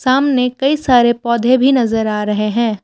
सामने कई सारे पौधे भी नज़र आ रहे हैं।